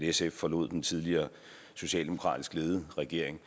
sf forlod den tidligere socialdemokratisk ledede regering